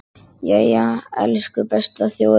Jæja, elsku besta þjóðin mín!